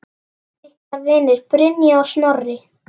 Ykkar vinir, Brynja og Snorri.